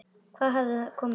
Hvað hafði komið upp á?